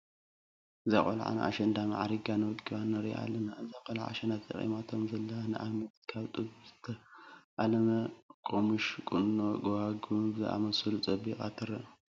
እዛ ቆልዓ ኣሸንዳ ማዕሪጋን ወቂባን ንሪኣ ኣላና። እዛ ቆልዓ ኣሸንዳ ተጠቂማቶም ዘላ ንኣብነት ካብ ጥጡ ዝተኣለመ ቆሙሽ፣ ቁኖ፣ ጉባጉብ ብዝኣምሰሉ ፀቢቃ ትረአ።